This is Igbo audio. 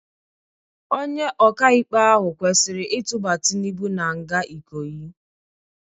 Onye ọka-ikpe ahụ kwesịrị itụba Tinubu na-nga Ikoyi.